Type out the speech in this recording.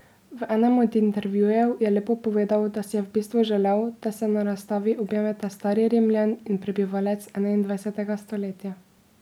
V enem od intervjujev je lepo povedal, da si je v bistvu želel, da se na razstavi objameta stari Rimljan in prebivalec enaindvajsetega stoletja.